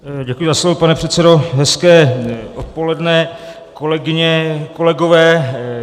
Děkuji za slovo, pane předsedo, hezké odpoledne, kolegyně, kolegové.